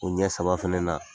O ɲɛ saba fɛnɛ na